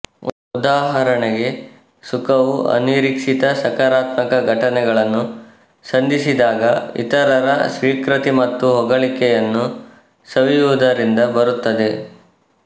ಉದಾಹರಣೆಗೆ ಸುಖವು ಅನಿರೀಕ್ಷಿತ ಸಕಾರಾತ್ಮಕ ಘಟನೆಗಳನ್ನು ಸಂಧಿಸಿದಾಗ ಇತರರ ಸ್ವೀಕೃತಿ ಮತ್ತು ಹೊಗಳಿಕೆಯನ್ನು ಸವಿಯುವುದರಿಂದ ಬರುತ್ತದೆ